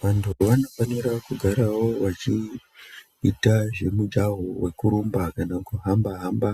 Vantu vanofanira kugarawo vachiita zvemijaho wekurumba kana kuhamba-hamba,